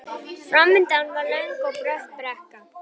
Framundan var löng og brött brekka.